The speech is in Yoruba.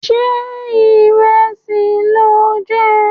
Ṣé ìrẹsì lò ń jẹ?